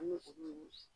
An bɛ olu ɲini